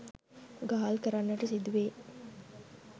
ගාල් කරන්නට සිදුවේ